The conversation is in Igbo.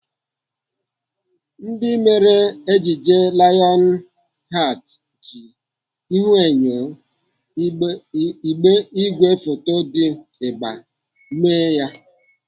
Ndị mere ejije Lions heart ji ihuenyo igwefoto dị ịgba mee ya.